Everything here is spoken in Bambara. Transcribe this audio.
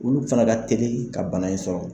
Olu fana ka teli ka bana in sɔrɔ